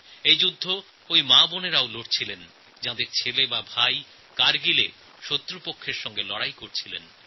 এই যুদ্ধ সেই সব মা ও বোনেরাও লড়েছেন যাঁদের জওয়ান ছেলে বা ভাই কারগিলে শত্রুদের সঙ্গে লড়াই করছিলেন